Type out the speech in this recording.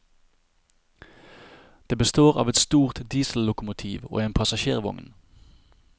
Det består av et stort diesellokomotiv og en passasjervogn.